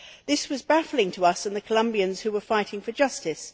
This was baffling to us and the Colombians who were fighting for justice.